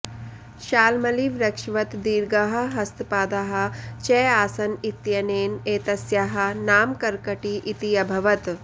शाल्मलिवृक्षवत् दीर्घाः हस्तपादाः च आसन् इत्यनेन एतस्याः नाम कर्कटी इति अभवत्